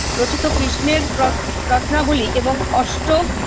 রচিত কৃষ্ণের রত রত্নাবলি এবং অস্ট